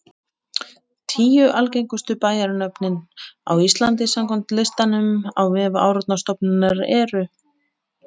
Hún er lítið notuð á fjármálamörkuðum þótt hennar sé oft getið í fjölmiðlum.